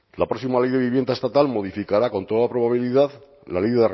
la próxima ley de vivienda estatal modificará con toda probabilidad la ley